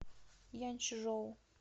янчжоу